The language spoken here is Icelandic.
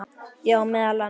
Já, meðal annars.